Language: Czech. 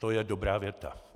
To je dobrá věta.